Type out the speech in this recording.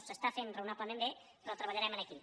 s’està fent rao·nablement bé però treballarem aquí